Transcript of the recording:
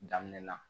Daminɛ na